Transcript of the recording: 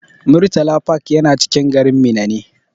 Murtala park yana cikin garin Minna ne.